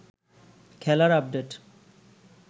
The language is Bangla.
খেলার আপডেট